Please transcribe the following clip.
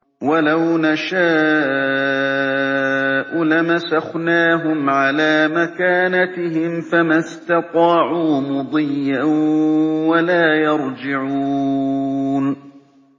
وَلَوْ نَشَاءُ لَمَسَخْنَاهُمْ عَلَىٰ مَكَانَتِهِمْ فَمَا اسْتَطَاعُوا مُضِيًّا وَلَا يَرْجِعُونَ